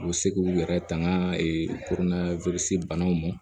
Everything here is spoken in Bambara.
U bɛ se k'u yɛrɛ tanga kurunna wirisi banaw ma